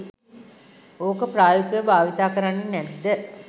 ඕක ප්‍රායෝගිකව භාවිතා කරන්නෙ නැද්ද?